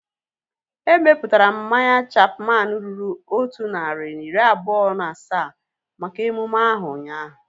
Emeputara m mmanya Chapman ruru otu narị na iri abụọ na asaa maka emume ahu ụnyaahụ